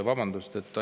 Vabandust!